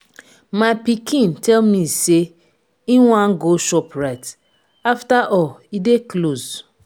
my pikin tell me say he wan go shop right after all e dey close.